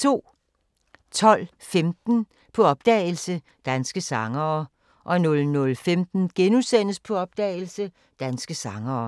12:15: På opdagelse – Danske sangere 00:15: På opdagelse – Danske sangere *